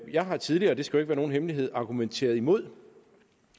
jeg har tidligere og det skal ikke være nogen hemmelighed argumenteret imod